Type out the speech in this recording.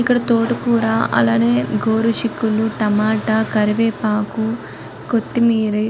ఇక్కడ తోటకూర అలానే గోరుచిక్కుళ్ళు టమాటా కరివేపాకు కొత్తిమీర --